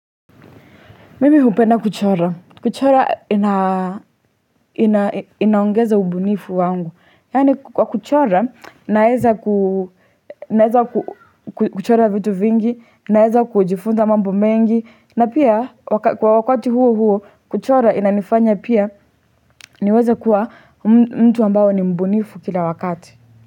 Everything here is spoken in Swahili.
Mimi hupenda kuchora. Kuchora inaongeza ubunifu wangu. Yani kwa kuchora, naeza kuchora vitu vingi, naeza kujifunza mambo mengi. Na pia, kwa wakati huo huo, kuchora inanifanya pia niweze kuwa mtu ambao ni mbunifu kila wakati.